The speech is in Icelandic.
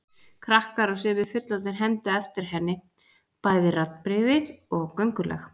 Krakkar og sumir fullorðnir hermdu eftir henni, bæði raddbrigði og göngulag.